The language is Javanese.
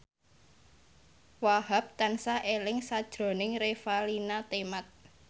Wahhab tansah eling sakjroning Revalina Temat